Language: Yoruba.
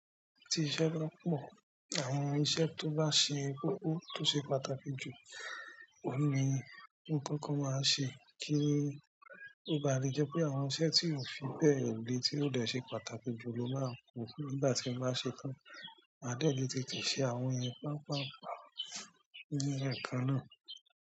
Ti iṣẹ́ ba pọ̀, àwọn iṣẹ́ tó bá ṣe koko tó ṣe pàtàkì jù, ohun ni mo kóko máa ṣe kí ó bà le jẹ́ pé àwọn iṣẹ́ tí ò fi bẹ́ẹ̀ le tí ó dẹ̀ ṣe pàtàkì jù ló máa ku nígbà tí n bá ṣe tán. Ma dẹ̀ lè tètè ṣe àwọn yẹn papaapa ní ẹ̀kan náà.